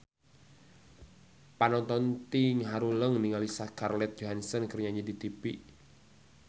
Panonton ting haruleng ningali Scarlett Johansson keur nyanyi di tipi